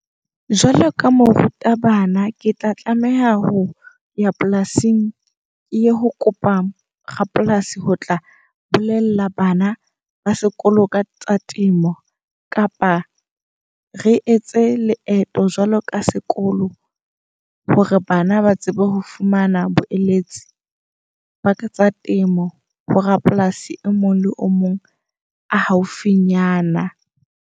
Jwalo ka moruta bana, ke tla tlameha ho ya polasing. Ke ye ho kopa rapolasi ho tla bolela bana ba sekolo ka tsa temo. Kapa re etse leeto jwalo ka sekolo. Hore bana ba tsebe ho fumana boeletsi ba ka tsa temo ho rapolasi e mong le o mong a haufinyana.